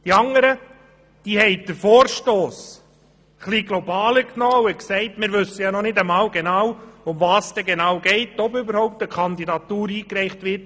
Das andere Lager hat den Vorstoss etwas globaler gesehen und gesagt, wir wissen ja noch nicht einmal, worum es genau geht und ob überhaupt eine Kandidatur eingereicht wird.